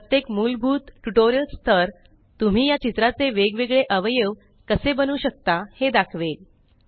प्रत्येक मुलभूत ट्युटोरियल स्थर तुम्ही या चित्राचे वेग वेगळे अवयव कसे बनवू शकता हे दाखवेल